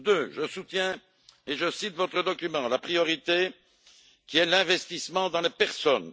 Je soutiens également et je cite votre document la priorité qui est l'investissement dans les personnes.